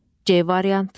C variantı.